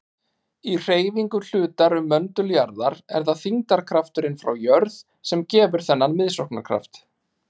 Í hreyfingu hlutar um möndul jarðar er það þyngdarkrafturinn frá jörð sem gefur þennan miðsóknarkraft.